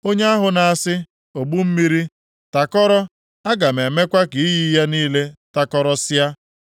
Onye ahụ na-asị, ogbu mmiri, ‘Takọrọ, aga m emekwa ka iyi ya niile takọrọsịa,’